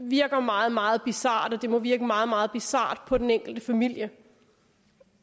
virker meget meget bizart og det må virke meget meget bizart på den enkelte familie